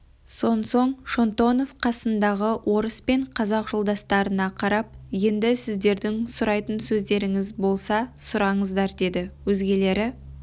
сонсоң шонтонов қасындағы орыс пен қазақ жолдастарына қарап енді сіздердің сұрайтын сөздеріңіз болса сұраңыздар деді өзгелері